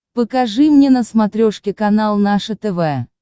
покажи мне на смотрешке канал наше тв